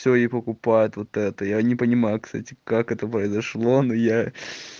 все и покупают вот это я не понимаю кстати как это произошло но я